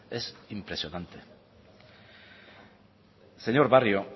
es impresionante señor barrio